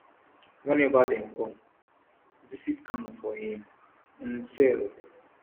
whenever dem come visit kanu for im um cell